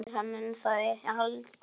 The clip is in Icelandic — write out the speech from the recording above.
Gættu þín á fóla þessum.